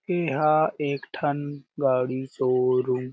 एहां एक ठन गाडी शोरूम --